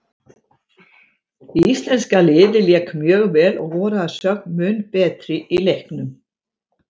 Íslenska liðið lék mjög vel og voru að sögn mun betri í leiknum.